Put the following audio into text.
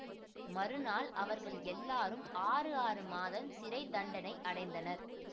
மறுநாள் அவர்கள் எல்லாரும் ஆறு ஆறு மாதம் சிறை தண்டனை அடைந்தனர்